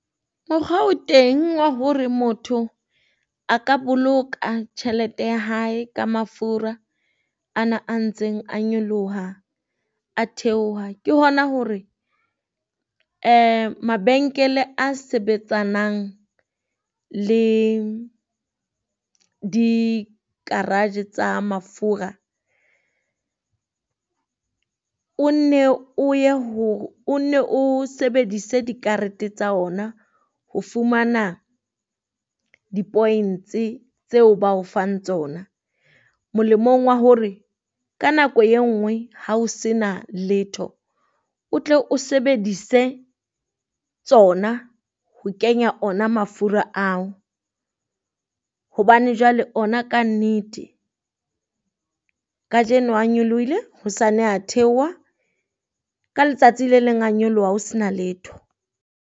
Mokgwa o teng wa hore motho a ka boloka tjhelete ya hae ka mafura ana a ntseng a nyoloha, a theoha. Ke hona hore mabenkele a sebetsanang le di garage tsa mafura, o nne o ye hore o nne sebedise di karete tsa ona ho fumana di points-e tseo ba fang tsona. Molemong wa hore ka nako e nngwe ha o se na letho, o tle o sebedise tsona ho kenya ona mafura ao. Hobane jwale ona kannete Kajeno a nyolohile hosane a theoha, ka letsatsi le leng a nyoloha ho se na letho.